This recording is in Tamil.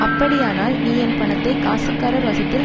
அப்படியானால் நீ என் பணத்தை காசுக்காரர் வசத்தில்